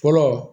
Fɔlɔ